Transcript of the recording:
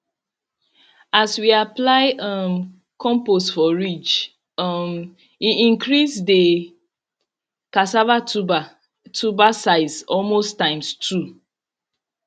as we apply um compost for ridge um e increase the cassava tuber tuber size almost times two